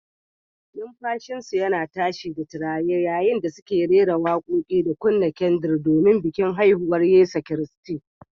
Numfashinsu yana tashi da tururi yayin da suke rera waƙoƙi da kunna kyandir don bikin haihuwar Yesu Kiristi.